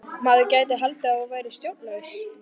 Maður gæti haldið að þú værir sjónlaus!